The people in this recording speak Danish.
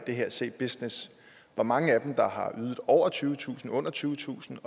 c business hvor mange af dem har ydet over tyvetusind under tyvetusind